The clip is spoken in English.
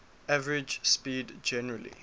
average speed generally